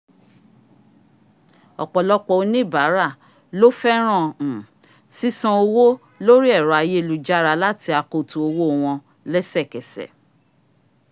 ọ̀pọ̀lọpọ̀ oníbàárà lọ́ fẹ́ràn um sísan owọ́ lórí ẹ̀rọ ayélujára láti akoto owó wọn lẹ́sẹ̀kẹsẹ̀